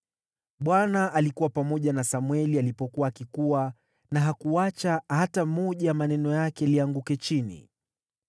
Bwana alikuwa pamoja na Samweli alipokuwa akikua, na hakuacha hata moja ya maneno yake lianguke chini.